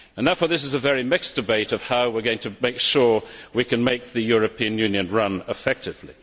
Therefore this is a very mixed debate on how we are going to make sure we can make the European Union run effectively.